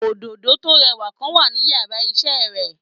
Òdòdó tó rẹwà kan wà ní yàrá isé re